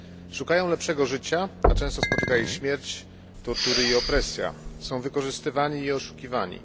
Szukają lepszego życia, a często spotyka ich śmierć, tortury i opresja. Są wykorzystywani i oszukiwani.